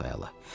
Çox əla.